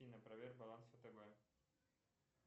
афина проверь баланс втб